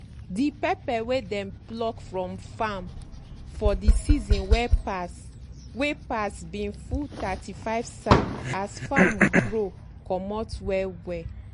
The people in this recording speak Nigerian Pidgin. de pepper wey dem pluck from farm for de season wey pass wey pass bin full thirty-five sack as farrm grow comot well well. um